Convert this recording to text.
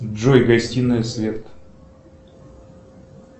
джой гостинная свет